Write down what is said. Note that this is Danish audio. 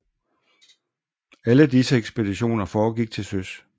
Alle disse ekspeditioner foregik til søs